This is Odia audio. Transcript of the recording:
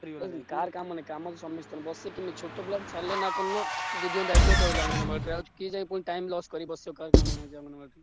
କାହାର କାମ ନାହିଁ କାମ ତ ସମସ୍ତ ଙ୍କର ଛୋଟ ଛୁଆ କୁ ଛାଡିଲେ କଣ ନାଁ ଦିଦିଙ୍କ ଦାଇତ୍ଵରେ ରହିଲା ଅଙ୍ଗନବାଡିରେ ଆଉ କିଏ ଯାଇ ବସିବ time loss କରିବ।